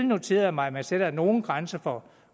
noteret mig at man sætter nogle grænser for